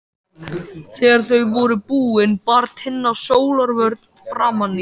Þegar þau voru búin bar Tinna sólarvörn framan í sig.